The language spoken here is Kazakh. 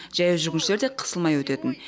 жаяу жүргіншілер де қысылмай өтетін